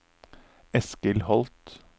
Eskil Holth